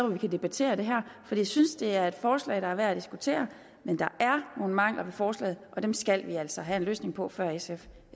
vi kan debattere det her for jeg synes at det er et forslag der er værd at diskutere men der er nogle mangler ved forslaget og dem skal vi altså have en løsning på før sf